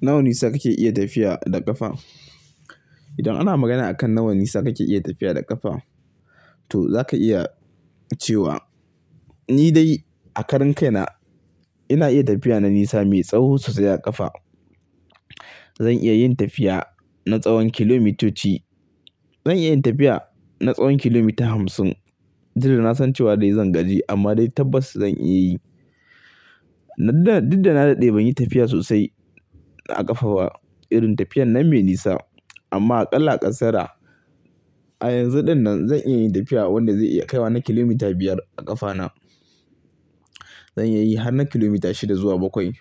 Nawa nisa kake iya tafiya da ƙafa? Idan ana magana akan nawa nisa kake iya tafiya da ƙafa, to zaka iya cewa ni dai a karan kaina ina iya tafiya na nisa mai tsawo sosai a ƙafa. Zan iya yin tafiya na tsawon kilomitoci. Zan iya yin tafiya na tsawon kilomita hamsin, duk da nasan cewa dai zan gaji amma dai tabbas zan iya yi. Didda, didda na daɗe ban yi tafiya sosai a ƙafa ba irin tafiyan nan me nisa. Amma a ƙalla ƙasara a yanzu dinnan zan iya tafiya wanda zai iya kaiwa na kilomita biyar a ƙafana. Zan iya yi har na kilomita shida zuwa bakwai.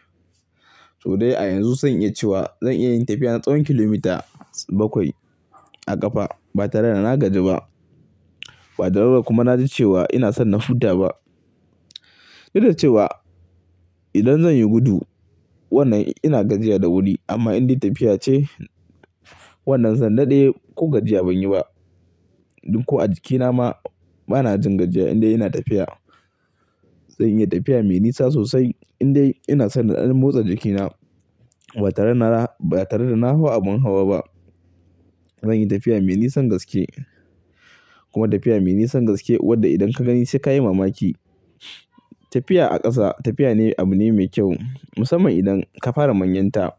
To dai a yanzu zan iya cewa zan iya yin tafiya na tsawon kilomita bakwai a ƙafa ba tare da na gaji ba. Ba tare da kuma na ji cewa ina son na futa ba. Duk da cewa idan zan yi gudu wannan ina gajiya da wuri amma in dai tafiya ce wannan zan daɗe ko gajiya ban yi ba. Dun ko a jikina ma bana jin gajiya in dai ina tafiya. Zan iya tafiya me nisa sosai in dai ina son na ɗan motsa jikina ba tare da na, ba tare da na hau abin hawa ba. Zan yi tafiya me nisan gaske kuma tafiya me nisan gaske wadda idan ka gani sai ka yi mamaki. Tafiya a ƙasa tafiya ne abu ne mai kyau musamman idan ka fara manyanta.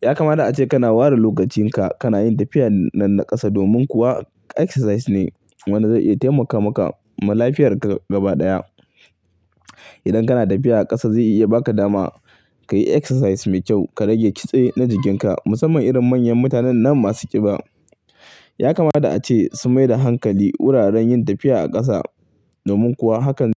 Ya kamata ace kana ware lokacin ka kana yin tafiya na ƙasa domin kuwa exercise ne wanda zai iya taimaka maka ma lafiyar ka gaba ɗaya. Idan kana tafiya ƙasa zai iya ba ka dama ka yi exercise mai kyau, ka rage kitse na jikin ka musamman irin manyan mutanen nan masu ƙiba. Ya kamata ace sun mai da hankali wuraren yin tafiya a ƙasa domin kuwa hakan--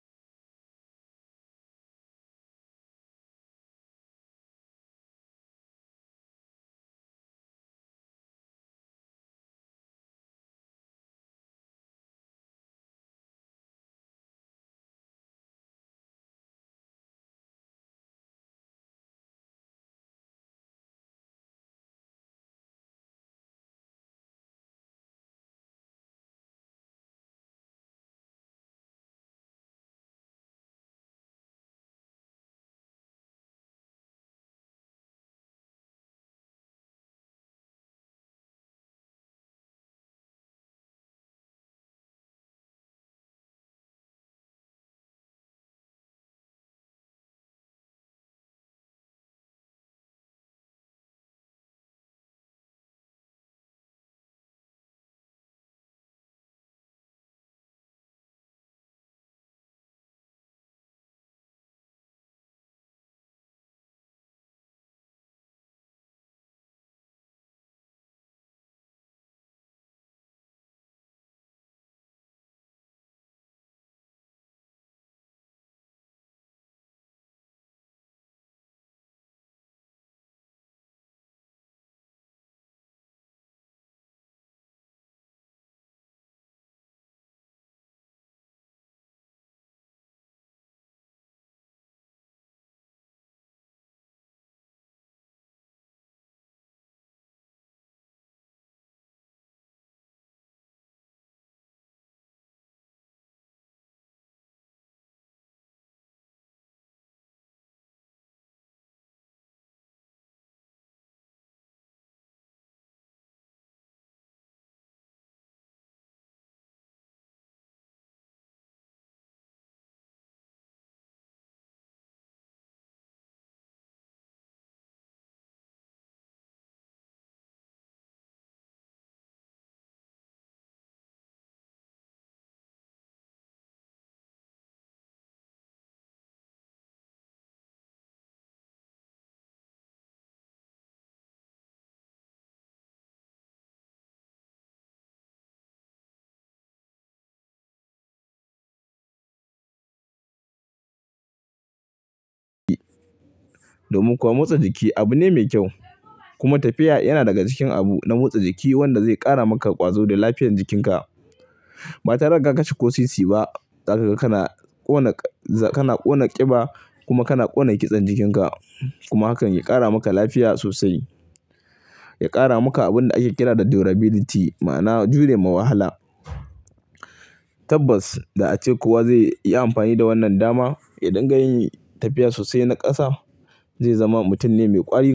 domin kuwa motsa jiki abu ne mai kyau. Kuma tafiya yana daga cikin abu na motsa jiki wanda zai ƙara maka ƙwazo da lafiyar jikin ka. Ba tare da ka kashe ko sisi ba. Zakaga, kana ƙona ƙiba kuma kana ƙona kitsen jikin ka. Kuma hakan ya ƙara maka lafiya sosai. Ya ƙara maka abin da ake kira da durability ma'ana jure ma wahala. Tabbas da ace kuwa zai yi amfani da wannan dama yadinga yin tafiya sosai na ƙasa, zai zama mutum ne mai ƙwari.